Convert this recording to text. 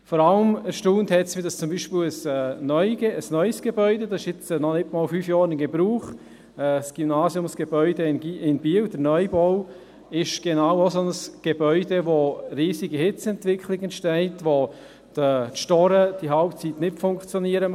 Vor allem erstaunt hat mich, dass zum Beispiel in einem neuen Gebäude – dieses ist noch nicht einmal fünf Jahre in Gebrauch, der Neubau des Gymnasiums in Biel – eine riesige Hitzeentwicklung entsteht und die Storen zur Hälfte der Zeit nicht funktionieren.